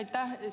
Aitäh!